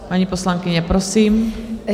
Paní poslankyně, prosím.